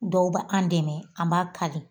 Dɔw bɛ an dɛmɛ an b'a kali